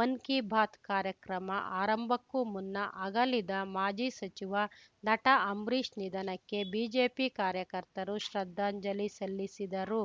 ಮನ್‌ ಕೀ ಬಾತ್‌ ಕಾರ್ಯಕ್ರಮ ಆರಂಭಕ್ಕೂ ಮುನ್ನ ಅಗಲಿದ ಮಾಜಿ ಸಚಿವ ನಟ ಅಂಬರೀಷ್‌ ನಿಧನಕ್ಕೆ ಬಿಜೆಪಿ ಕಾರ್ಯಕರ್ತರು ಶ್ರದ್ದಾಂಜಲಿ ಸಲ್ಲಿಸಿದರು